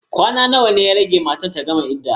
Kwana nawa ya rage mata ta gama idda?